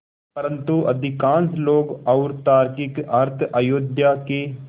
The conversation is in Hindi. परन्तु अधिकांश लोग और तार्किक अर्थ अयोध्या के